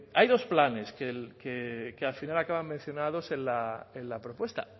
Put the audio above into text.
hay dos planes que al final acaban mencionados en la propuesta